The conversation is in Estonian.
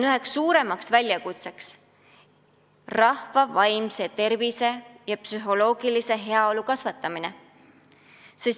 Üks suurimaid väljakutseid on rahva vaimse tervise ja psühholoogilise heaolu toetamine.